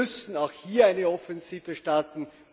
Wir müssen auch hier eine Offensive starten.